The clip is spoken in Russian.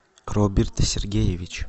роберт сергеевич